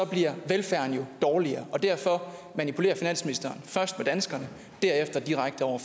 bliver velfærden jo dårligere derfor manipulerer finansministeren først med danskerne og derefter direkte over